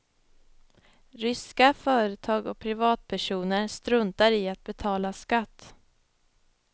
Ryska företag och privatpersoner struntar i att betala skatt.